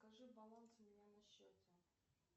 покажи баланс у меня на счете